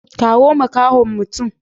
Kawo makahon mutum.